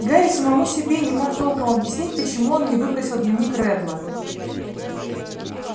гарри самому себе не мог толком объяснить почему он не выбросил дневник реддла